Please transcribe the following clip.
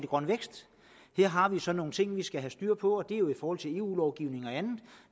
grøn vækst her har vi så nogle ting vi skal have styr på og det er jo i forhold til eu lovgivningen og andet og